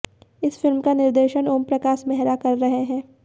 इस फिल्म का निर्देशन ओम प्रकाश मेहरा कर रहे हैं